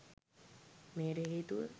මෙයට හේතුව